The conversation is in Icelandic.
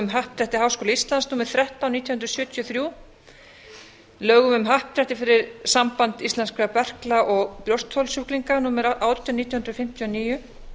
happdrætti háskóla íslands númer þrettán nítján hundruð sjötíu og þremur lögum um happdrætti fyrir samband íslenskra berkla og brjóstholssjúklinga númer átján nítján hundruð fimmtíu og níu